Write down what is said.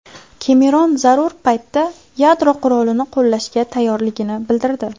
Kemeron zarur paytda yadro qurolini qo‘llashga tayyorligini bildirdi.